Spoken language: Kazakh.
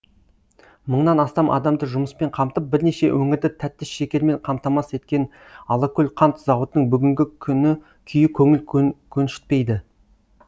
мыңнан астам адамды жұмыспен қамтып бірнеше өңірді тәтті шекермен қамтамасыз еткен алакөл қант зауытының бүгнгі күні күйі көңіл көншітпейді